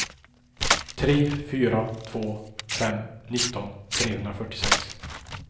tre fyra två fem nitton trehundrafyrtiosex